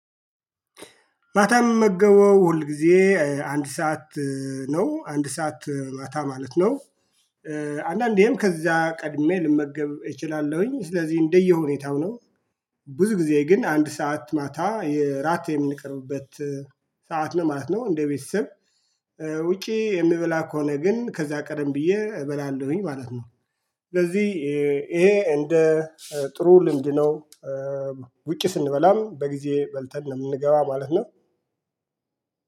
ማታ ምመገበው ሁል ጊዜ አንድ ሰዓት ነው አንድ ሰዓት ማታ ማለት ነው። አንዳንዴም ከዚያ ቀድሜ ልመገብ እችላለሁኝ ስለዚህ እንደየሁኔታው ነው። ብዙ ጊዜ ግን አንድ ሰዓት ማታ የራት የምንቀርብበት ሰዓት ነው ማለት ነው። እንደ ቤተሰብ ውጪ የምበላ ከሆነ ግን ከዛ ቀደም ብዬ እበላለሁኝ ማለት ነው። ስለዚህ ይሄ እንደ ጥሩ ልምድ ነው። ውጪ ስንበላም በጊዜ በልተን ነው የምንገባ ማለት ነው